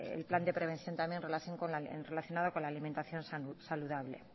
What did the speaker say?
el plan de prevención también relacionado con la alimentación saludable